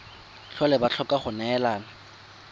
tlhole ba tlhoka go neelana